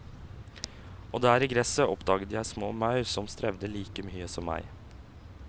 Og der i gresset oppdaget jeg små maur som strevde like mye som meg.